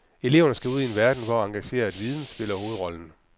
Eleverne skal ud i en verden, hvor engageret viden spiller hovedrollen.